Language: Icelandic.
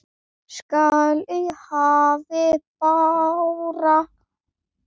skall í hafi bára.